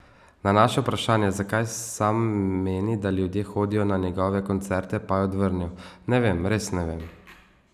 Na naše vprašanje, zakaj sam meni, da ljudje hodijo na njegove koncerte, pa je odvrnil: 'Ne vem, res ne vem.